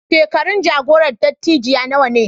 Shekarun jagoran dattijai nawa ne?